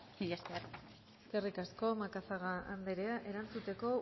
mila esker eskerrik asko macazaga anderea erantzuteko